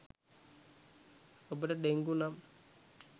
ඔබට ඩෙංගු නම්